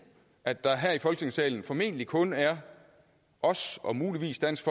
at der her i folketingssalen formentlig kun er os og muligvis dansk